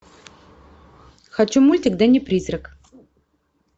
хочу мультик дэнни призрак